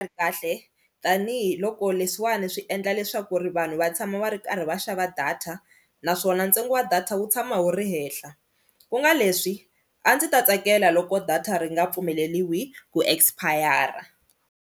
Ri kahle tanihiloko leswiwani swi endla leswaku ri vanhu va tshama va ri karhi va xava data naswona ntsengo wa data wu tshama wu ri henhla ku nga leswi a ndzi ta tsakela loko data ri nga pfumeleliwi ku expire.